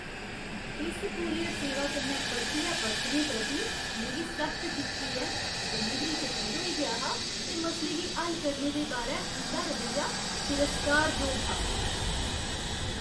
इस कूरियर सेवा कन्नै परतियै बरतने प्रति मिगी सख्त जिच्ची ऐ। डलीवरी च चिर होई गेआ हा ते मसले गी हल करने दे बारै उं'दा रवैया तिरस्कारजोग हा।